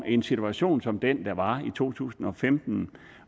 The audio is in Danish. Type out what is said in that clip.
i en situation som den der var i to tusind og femten